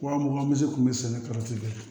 Wa mugan misi kun bɛ sɛnɛ bɛɛ